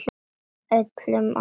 Öllum á óvart.